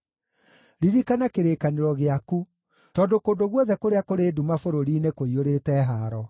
Ririkana kĩrĩkanĩro gĩaku, tondũ kũndũ guothe kũrĩa kũrĩ nduma bũrũri-inĩ kũiyũrĩte haaro.